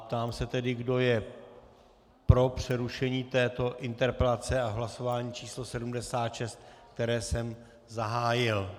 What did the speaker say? Ptám se tedy, kdo je pro přerušení této interpelací v hlasování číslo 76, které jsem zahájil.